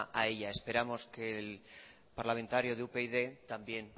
a ella esperamos que el parlamentario de upyd también